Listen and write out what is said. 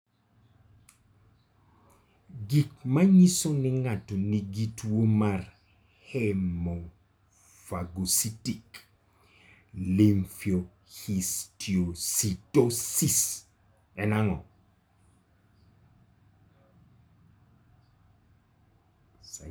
Gik manyiso ni ng'ato nigi tuwo mar Hemofagocytic lymphohistiocytosis, en ang'o?